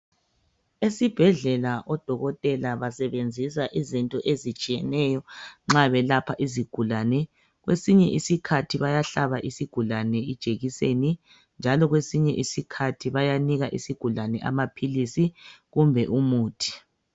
Esibhedlela odokotela basebenzisa izinto ezitshiyeneyo nxa belapha izigulane. Kwesinye isikhathi bayahlaba isigulane ijekiseni njalo kwesinye isikhathi bayanika isigulane amaphilisi kumbe umuthi.